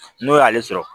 N'o y'ale sɔrɔ